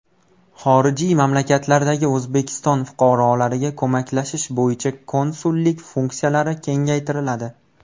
Xorijiy mamlakatlardagi O‘zbekiston fuqarolariga ko‘maklashish bo‘yicha konsulliklar funksiyalari kengaytiriladi.